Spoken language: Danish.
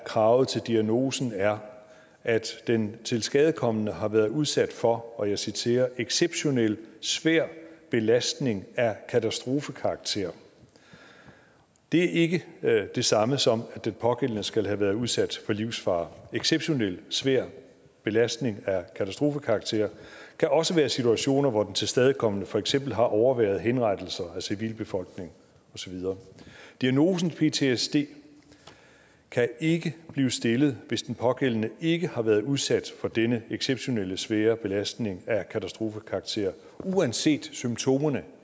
kravet til diagnosen er at den tilskadekomne har været udsat for og jeg citerer exceptionel svær belastning af katastrofekarakter det er ikke det samme som at den pågældende skal have været udsat for livsfare exceptionel svær belastning af katastrofekarakter kan også være situationer hvor den tilskadekomne for eksempel har overværet henrettelser af civilbefolkningen og så videre diagnosen ptsd kan ikke blive stillet hvis den pågældende ikke har været udsat for denne exceptionelle svære belastning af katastrofekarakter uanset symptomer